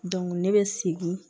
ne bɛ segin